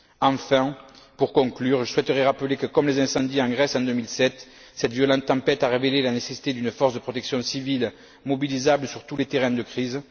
Enfin, pour conclure, je souhaiterais rappeler que, comme les incendies en Grèce en 2007, cette violente tempête a révélé la nécessité d'une force de protection civile mobilisable sur tous les terrains de crise.